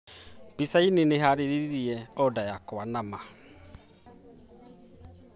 Pizza Inn nĩ ĩhaarĩirie order yakwa nama